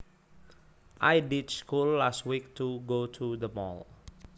I ditched school last week to go to the mall